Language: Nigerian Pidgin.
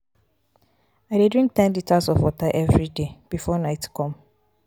i dey drink ten litres of water everyday before night come.